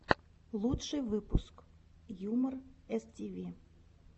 лучший выпуск юмор эстиви